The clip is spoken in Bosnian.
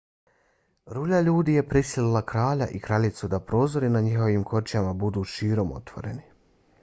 rulja ljudi je prisilila kralja i kraljicu da prozori na njihovim kočijama budu širom otvoreni